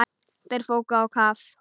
Þeir fóru á kaf.